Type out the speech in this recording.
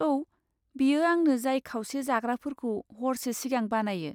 औ, बेयो आंनो जाय खावसे जाग्राफोरखौ हरसे सिगां बानायो।